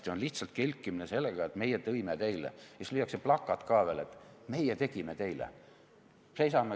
See on lihtsalt kelkimine sellega, et meie tõime teile, ja siis lüüakse ette veel plakat, et meie tegime teile.